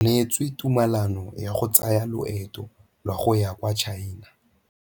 O neetswe tumalanô ya go tsaya loetô la go ya kwa China.